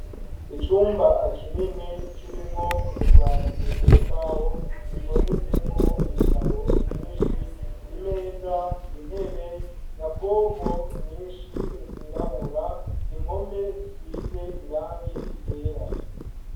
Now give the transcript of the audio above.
Icumba kinini kirimwo utubati tw'imbaho dutondetsemo ibitabo vyinshi imeza intebe nyabwonko nyinshi zirabura impome zisize irangi ryera.